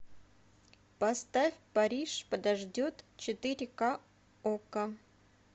поставь париж подождет четыре ка окко